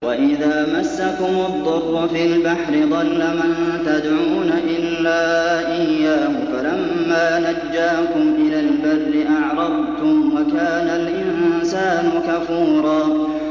وَإِذَا مَسَّكُمُ الضُّرُّ فِي الْبَحْرِ ضَلَّ مَن تَدْعُونَ إِلَّا إِيَّاهُ ۖ فَلَمَّا نَجَّاكُمْ إِلَى الْبَرِّ أَعْرَضْتُمْ ۚ وَكَانَ الْإِنسَانُ كَفُورًا